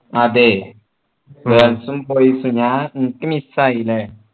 അതെ girls ഉം boys ഉം ഞാൻ എനിക്ക് miss ആയില്ലേ